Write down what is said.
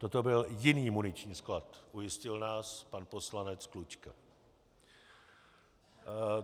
Toto byl jiný muniční sklad, ujistil nás pan poslanec Klučka.